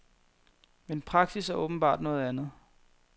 Men praksis er åbenbart noget andet.